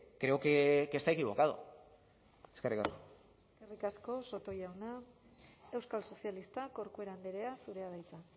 creo que está equivocado eskerrik asko eskerrik asko soto jauna euskal sozialistak corcuera andrea zurea da hitza